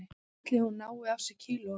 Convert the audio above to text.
Ætli hún nái af sér kílóunum